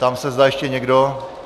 Ptám se, zda ještě někdo...?